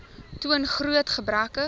toon groot gebreke